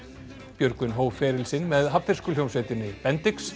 Björgvin hóf feril sinn með hafnfirsku hljómsveitinni